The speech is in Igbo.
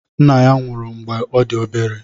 Nna ya nwụrụ mgbe ọ dị obere.